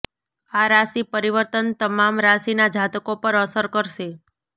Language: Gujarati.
આ રાશિ પરિવર્તન તમામ રાશિના જાતકો પર અસર કરશે